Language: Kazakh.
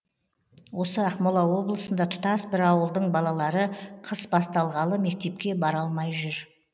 осы ақмола облысында тұтас бір ауылдың балалары қыс басталғалы мектепке бара алмай жүр